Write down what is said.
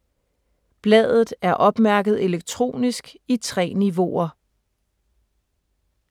Bladet er opmærket elektronisk i 3 niveauer.